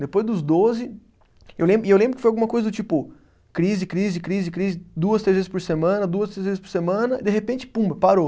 Depois dos doze, eu lembro e eu lembro que foi alguma coisa do tipo, crise, crise, crise, crise, duas, três vezes por semana, duas, três vezes por semana, de repente, pumba, parou.